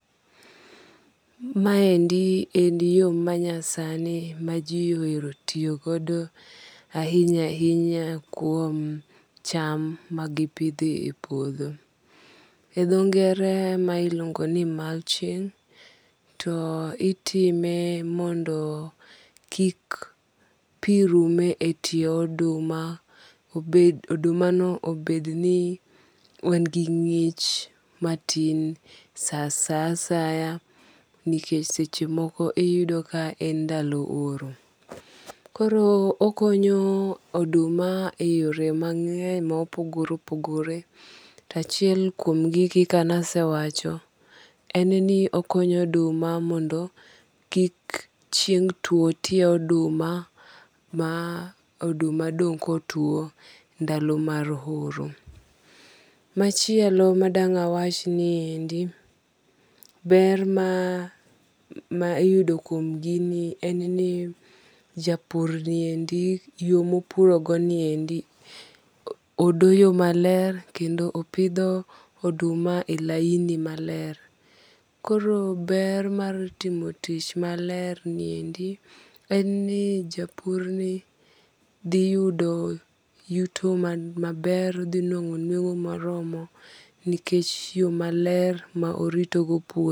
Ma endi en yo manyasani ma ji ohero tiyogodo ahinya ahinya kuom cham magipidho e puodho. E dho ngere ma iluongo nu mulching to itime mondo kik pi rum e tie oduma. Oduma no obed ni en gi ng'ich matin sa asaya nikech seche moko iyudo ka en ndalo oro. Koro okonyo oduma e yore mang'eny ma opogore opogore. To achiel kuom gi kaka ne asewacho en ni okonyo oduma mondo kik chieng' tuo tie oduma ma oduma dong' kotuo ndadalo mar oro. Machiel ma dang' awach nie endi ber ma iyudo kuom gini en ni japur niendi yo mopuro go niendi odoyo maler kendo opidho oduma e laini maler. Koro ber mar timo tich maler ni endi en ni japur ni dhiyudo yuto maber. Odhi nuang'o nueng'o moromo nikech yo maler ma orito go puodho.